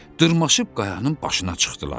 Dırmaşıb qayanın başına çıxdılar.